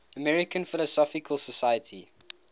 american philosophical society